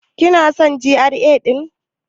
Kina son GRA ɗin?